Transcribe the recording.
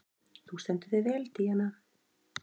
Þú stendur þig vel, Díana!